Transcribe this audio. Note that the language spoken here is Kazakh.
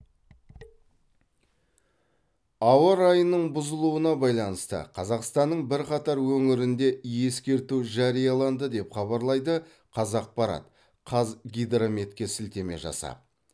ауа райының бұзылуына байланысты қазақстанның бірқатар өңірінде ескерту жарияланды деп хабарлайды қазақпарат қазгидрометке сілтеме жасап